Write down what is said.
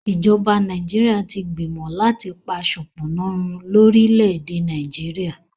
ìjọba Nàìjíríà tí gbìmọ láti pá sopona run lórí lẹ èdè Nàìjíríà